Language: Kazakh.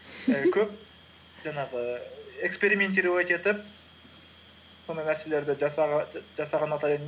көп жаңағы экспериментировать етіп сондай нәрселерді жасаған ұнатар едім